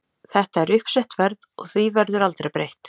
Þetta er uppsett verð og því verður aldrei breytt.